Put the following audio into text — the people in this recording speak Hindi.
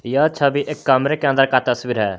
यह छवि एक कमरे के अंदर का तस्वीर है।